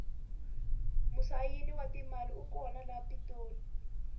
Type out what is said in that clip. musayini wa timali u kona le pitori